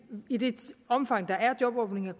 i det omfang der er jobåbninger